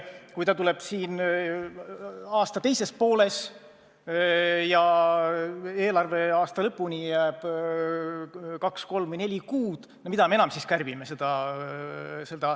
Kui ta tuleb aasta teises pooles ja eelarveaasta lõpuni jääb kaks, kolm või neli kuud, no mida me enam siis kärbime?